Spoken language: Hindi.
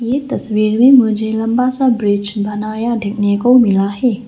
ये तस्वीर में मुझे लंबा सा ब्रिज बनाया देखने को मिला है।